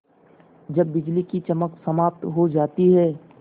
जब बिजली की चमक समाप्त हो जाती है